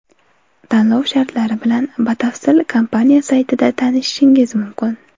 Tanlov shartlari bilan batafsil kompaniya saytida tanishingiz mumkin.